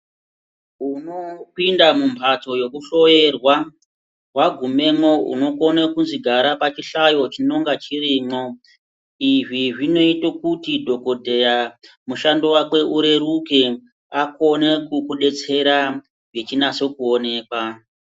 Unopinda mumhatso yekuhloyerwa wagumemwo unokone kuzwi gara pachihlayo chinonga chirimwo. Izvi zvinoite kuti dhokodheya mushando wakwe ureruke akone kukudetsera echinase kuonekwa.